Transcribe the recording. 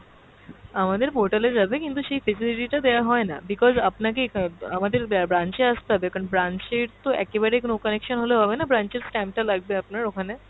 আমাদের portal এ যাবে কিন্তু সেই facility টা দেওয়া হয়না because আপনাকে অ্যাঁ আমাদের ব্রা~ branch এ আসতে হবে কারণ branch এর তো একেবারে কোনো connection হলে হবেনা, branch এর stamp টালাগবে আপনার ওখানে।